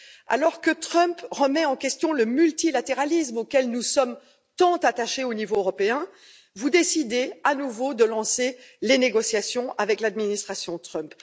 Alors que Donald Trump remet en question le multilatéralisme auquel nous sommes tant attachés au niveau européen, vous décidez à nouveau de lancer les négociations avec l'administration Trump.